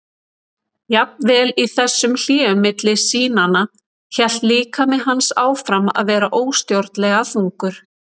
Jafnvel í þessum hléum milli sýnanna hélt líkami hans áfram að vera óstjórnlega þungur.